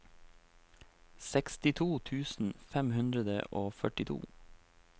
sekstito tusen fem hundre og førtito